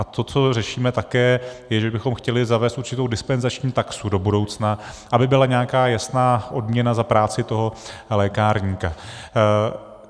A to, co řešíme také, je, že bychom chtěli zavést určitou dispenzační taxu do budoucna, aby byla nějaká jasná odměna za práci toho lékárníka.